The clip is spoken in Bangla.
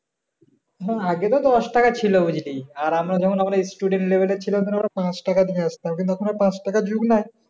আগে তো দশ টাকা ছিল বুঝলি, আর আমরা যখন আমাদের student level এ ছিলাম তখন তো পাঁচ টাকা দিয়ে আসতাম কিন্তু এখন আর পাঁচ টাকার যোগ নাই